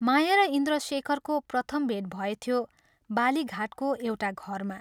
माया र इन्द्रशेखरको प्रथम भेट भएथ्यो बालीघाटको एउटा घरमा।